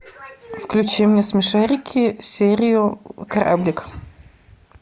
включи мне смешарики серию кораблик